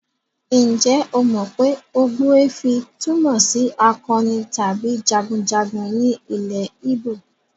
Ǹjẹ́ o mọ pé ogbuefi túmọ̀ sí akọni tàbí jagunjagun ní ilẹ̀ Igbo?